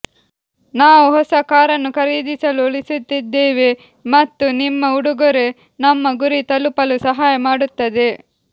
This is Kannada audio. ನಾವು ಹೊಸ ಕಾರನ್ನು ಖರೀದಿಸಲು ಉಳಿಸುತ್ತಿದ್ದೇವೆ ಮತ್ತು ನಿಮ್ಮ ಉಡುಗೊರೆ ನಮ್ಮ ಗುರಿ ತಲುಪಲು ಸಹಾಯ ಮಾಡುತ್ತದೆ